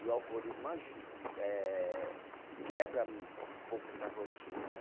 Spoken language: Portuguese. E o alcoolismo aju eh, quebra um pouco essa rotina, né?